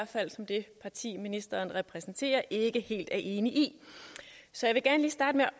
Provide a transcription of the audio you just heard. fald som det parti ministeren repræsenterer ikke er helt enig i så